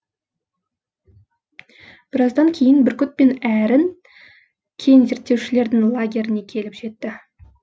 біраздан кейін бүркіт пен әрін кен зерттеушілердің лагеріне келіп жетті